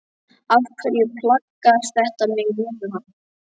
Af hverju plagar þetta mig núna?